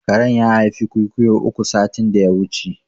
Karen ya haifi ƙwiƙwiyo uku satin da ya wuce